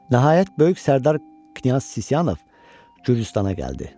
Nəhayət, böyük sərdar Knyaz Sisyanov Gürcüstana gəldi.